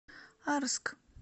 арск